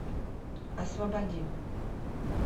освободим